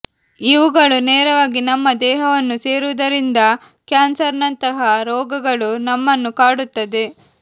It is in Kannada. ಇವುಗಳು ನೇರವಾಗಿ ನಮ್ಮ ದೇಹವನ್ನು ಸೇರುವುದರಿಂದ ಕ್ಯಾನ್ಸರ್ನಂತಹ ರೋಗಗಳು ನಮ್ಮನ್ನು ಕಾಡುತ್ತದೆ